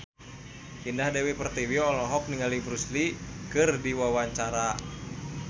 Indah Dewi Pertiwi olohok ningali Bruce Lee keur diwawancara